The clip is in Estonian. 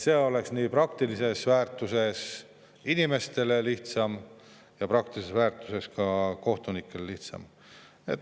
See oleks praktilises väärtuses nii inimestele kui ka kohtunikele lihtsam,.